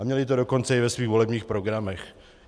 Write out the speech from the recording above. A měli to dokonce i ve svých volebních programech.